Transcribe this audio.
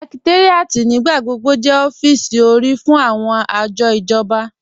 Sẹ̀kẹ̀táríàtì nígbàgbọ̀gbọ̀ jẹ́ ọ̀fíìsì orí fún awọn ajọ̀ ijọ̀ba.